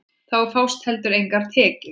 Þá fást heldur engar tekjur.